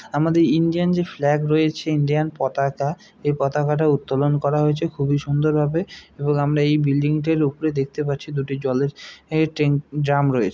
আমাদের ইন্ডিয়ান যে ফ্ল্যাগ রয়েছে ইন্ডিয়ান পতাকা এ পতাকাটা উত্তোলন করা হয়েছে খুবই সুন্দর ভাবে | এবং আমরা এই বিল্ডিং -টার উপরে দেখতে পাচ্ছি দুটি জলের ট্যাঙ্ক আ- ড্রাম রয়েছে।